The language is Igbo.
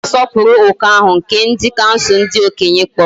Aga m asoporu oku ahu nke bdi kansul ndi okenye kporo.